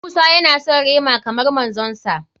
Musa ya na son rema kamar manzon sa.